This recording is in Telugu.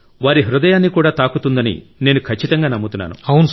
వారి హృదయాన్ని కూడా తాకుతుందని నేను ఖచ్చితంగా నమ్ముతున్నాను